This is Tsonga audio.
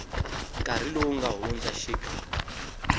nkarhi lowu nga hundza xik